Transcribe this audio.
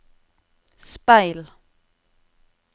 speil